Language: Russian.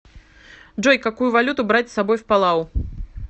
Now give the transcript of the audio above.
джой какую валюту брать с собой в палау